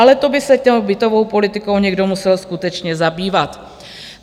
Ale to by se tou bytovou politikou někdo musel skutečně zabývat.